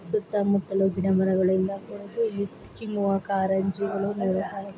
ಇಲ್ಲಿ ನಾವು ಏನು ನೋಡ್ತಾ ಇದ್ದೀರಿ ಅಂದ್ರೆ ಇಲ್ಲಿ ಹುಡುಗ ನೀರು ಕಡೆ ಎಲ್ಲಾ ಬ್ರಿಡ್ಜ್ ಮೇಲೆ ನಿಂತುಕೊಂಡು ಅಲ್ಲಿ ಫೋಟೋಸ್ ಹೇಳ್ತೀರೋದು ಅಂತ ನೋಡಬಹುದು